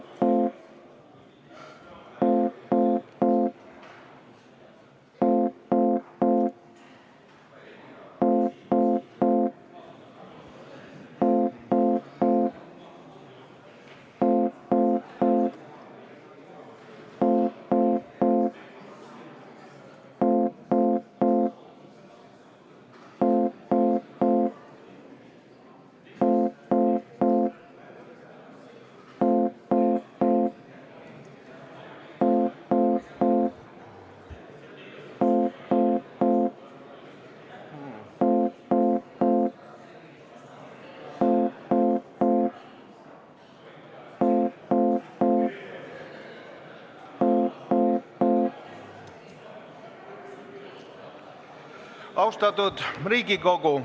Austatud Riigikogu!